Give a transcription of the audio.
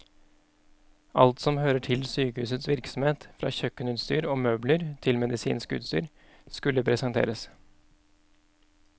Alt som hører til sykehusets virksomhet, fra kjøkkenutstyr og møbler til medisinsk utstyr, skulle presenteres.